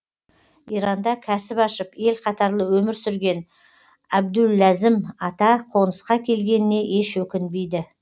иранда кәсіп ашып ел қатарлы өмір сүрген әбдуләзім ата қонысқа келгеніне еш өкінбейді